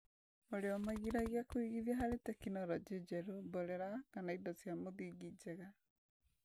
ũrĩa ũmagĩragia kũigithia harĩ tekinoronjĩ njerũ, mborera, kana indo cia mũthingi njega.